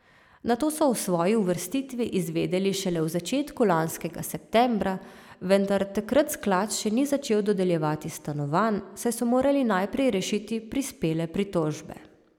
Nato so o svoji uvrstitvi izvedeli šele v začetku lanskega septembra, vendar takrat sklad še ni začel dodeljevati stanovanj, saj so morali najprej rešiti prispele pritožbe.